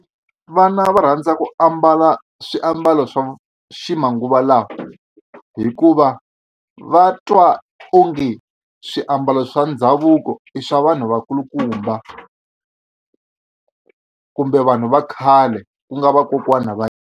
Vana va rhandza ku ambala swiambalo swa ximanguva lawa hikuva va twa onge swiambalo swa ndhavuko i swa vanhu vakulukumba kumbe vanhu va khale ku nga vakokwana va.